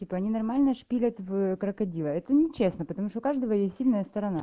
типо они нормально шпилят в крокодила это нечестно потому что у каждого есть сильная сторона